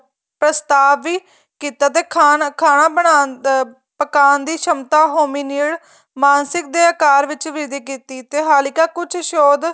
ਪ੍ਰਸਾਤਵ ਵੀ ਕੀਤਾ ਤੇ ਖਾਣਾ ਬਣਾਉਣ ਅਹ ਪਕਾਂਣ ਦੀ ਸਮਤਾ homer ਮਾਨਸਿਕ ਦੇ ਅਕਾਰ ਵਿੱਚ ਵਿਧੀ ਕੀਤੀ ਤੇ ਹਾਲਿਕਾ ਕੁੱਛ ਸੋਧ